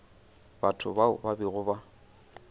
batho bao ba bego ba